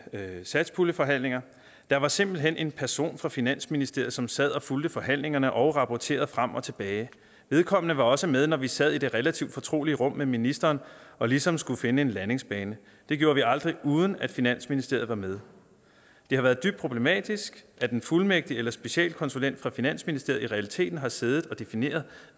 satspuljeforhandlingerne har der var simpelt hen en person fra finansministeriet som sad og fulgte forhandlingerne og rapporterede frem og tilbage vedkommende var også med når vi sad i det relativt fortrolige rum med ministeren og ligesom skulle finde en landingsbane det gjorde vi aldrig uden at finansministeriet var med det har været dybt problematisk at en fuldmægtig eller specialkonsulent fra finansministeriet i realiteten har siddet og defineret